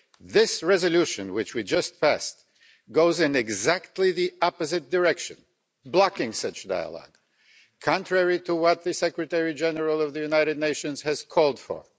This resolution, which we just passed, goes in exactly the opposite direction, blocking such dialogue contrary to what the Secretary-General of the United Nations has called for